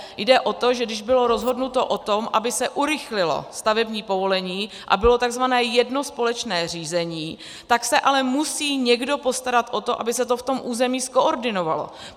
Jde o to, že když bylo rozhodnuto o tom, aby se urychlilo stavební povolení a bylo tzv. jedno společné řízení, tak se ale musí někdo postarat o to, aby se to v tom území zkoordinovalo.